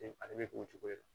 A bɛ k'o cogo de la